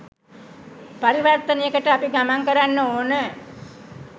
පරිවර්තනයකට අපි ගමන් කරන්න ඕන.